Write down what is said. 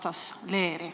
Toon Võru näite.